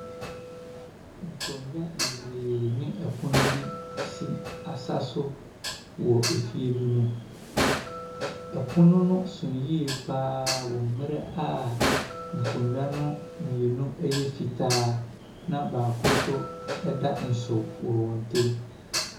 Nkonnwa bebree ne apono bi si asa so wɔ efie bi mu. Ɛpono no so yie pa ara wɔ mmerɛ a nkonnwa no mmienu yɛ fitaa, na baako nso da nso wɔ wɔn ntam.